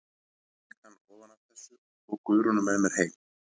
Ég fékk hann ofan af þessu og tók Guðrúnu með mér heim.